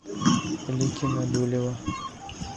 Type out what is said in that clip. ликино дулево